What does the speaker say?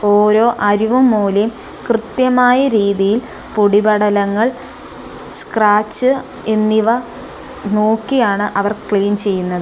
ഓരോ അരികും മൂലയും കൃത്യമായി രീതിയിൽ പൊടിപടലങ്ങൾ സ്ക്രാച്ച് എന്നിവ നോക്കിയാണ് അവർ ക്ലീൻ ചെയ്യുന്നത്.